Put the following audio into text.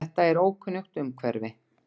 Þetta er ókunnugt umhverfi.